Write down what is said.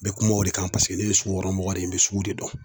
N bɛ kuma o de kan paseke ne ye sugukɔnɔmɔgɔ de ye n be sugu de dɔn